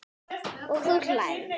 Og þú hlærð?